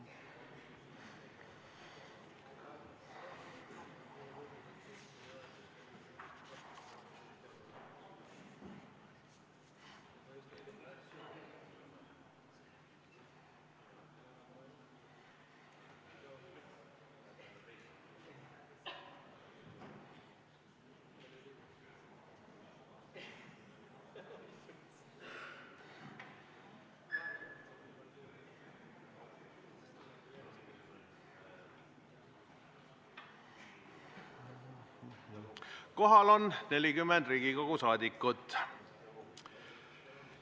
Kohaloleku kontroll Kohal on 40 Riigikogu liiget.